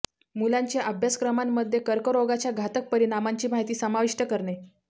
मुलांच्या अभ्यासक्रमांमध्ये कर्करोगाच्या घातक परिणामांची माहिती समाविष्ट करणे